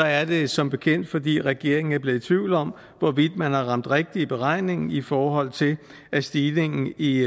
er det som bekendt fordi regeringen er blevet i tvivl om hvorvidt man har ramt rigtigt i beregningen i forhold til at stigningen i